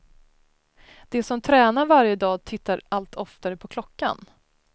De som tränar varje dag tittar allt oftare på klockan.